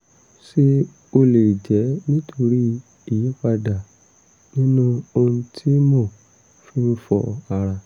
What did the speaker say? ṣé ó lè jẹ́ nítorí ìyípadà nínú ohun tí mo fi ń fọ ara?